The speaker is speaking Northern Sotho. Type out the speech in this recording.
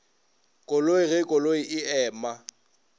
koloi ge koloi e ema